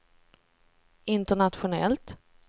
internationellt